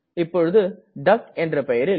இப்பொழுது டக் என்ற பெயரில்